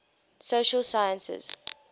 social sciences